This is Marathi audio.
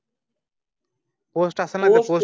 पोस्ट एका पोस्ट